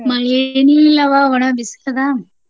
ಮಳಿ ಏನಿಲ್ಲವ್ವ ಒಣ ಬಿಸಿಲ್ ಅದ.